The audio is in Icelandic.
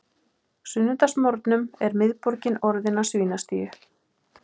sunnudagsmorgnum er miðborgin orðin að svínastíu.